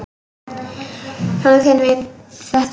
Sonur þinn veit þetta.